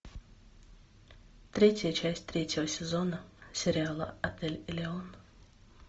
третья часть третьего сезона сериала отель элеон